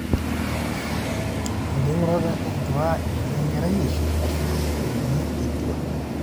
enking'urata etuaishu eini enkerai eishu aashu eini etua